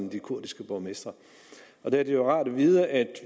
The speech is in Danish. de kurdiske borgmestre der er det jo rart at vide at